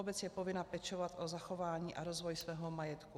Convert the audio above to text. Obec je povinna pečovat o zachování a rozvoj svého majetku.